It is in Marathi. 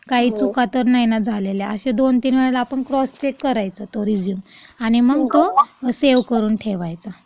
काही चुका तर नाही ना झालेल्या, असे दोन तीन वेळेस आपण क्रॉस चेक करायचा तो रेझ्यूम.आणि मग सेव्ह करून ठेवायचा.